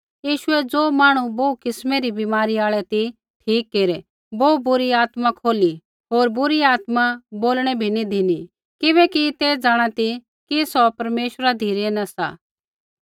यीशुऐ ज़ो मांहणु बोहू किस्मै री बीमारी आल़ै ती ठीक केरै बोहू बुरी आत्मा खोली होर बुरी आत्मा बोलणै बी नी धिनी किबैकि ते जाँणा ती कि सौ परमेश्वरा धिरै न सा